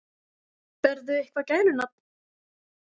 Berðu eitthvað gælunafn?